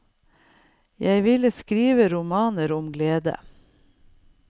Og jeg ville skrive romaner om glede.